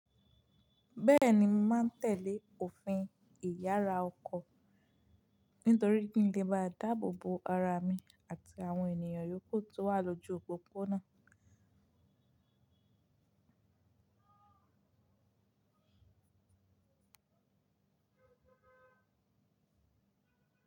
Bẹ́ẹ̀ni, mo máa tẹ̀lé òfin ìyára ọkọ̀ nítorí kí n lè bá dáàbò bo ara mi àti àwọn ènìyàn yókù tó wà lójú òpópónà.